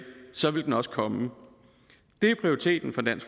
så ville den også komme det er prioriteten